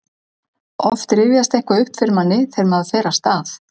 oft rifjast eitthvað upp fyrir manni þegar maður fer af stað